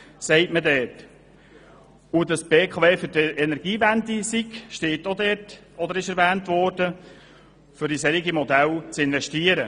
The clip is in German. Dass die BKW für die Energiewende sei, wurde dort ebenfalls erwähnt, um in solche Modelle Mittel zu investieren.